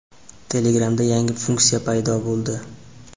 Telegram’da yangi funksiya paydo bo‘ldi.